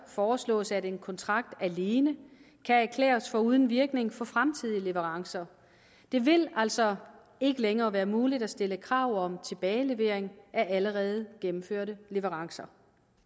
foreslås at en kontrakt alene kan erklæres for uden virkning for fremtidige leverancer det vil altså ikke længere være muligt at stille krav om tilbagelevering af allerede gennemførte leverancer